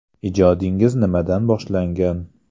Ijodingiz nimadan boshlangan?